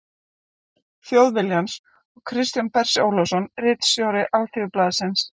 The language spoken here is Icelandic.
Þjóðviljans og Kristján Bersi Ólafsson ritstjóri Alþýðublaðsins.